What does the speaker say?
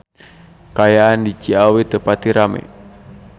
Kaayaan di Ciawi teu pati rame